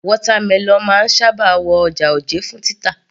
Watermelon máa ń sábà wọ ọjà òjé fún títà